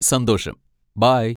സന്തോഷം, ബൈ!